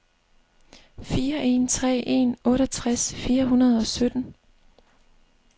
fire en tre en otteogtres fire hundrede og sytten